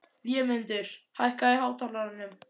Vémundur, hækkaðu í hátalaranum.